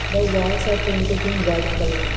the walls are painted in white colour.